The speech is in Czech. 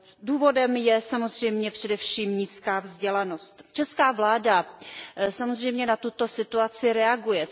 Důvodem je samozřejmě především nízká vzdělanost. Česká vláda samozřejmě na tuto situaci reaguje.